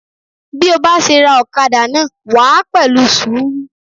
Bí o bá ṣe ra ọ̀kadà náà wàá pẹ̀lú sùúrù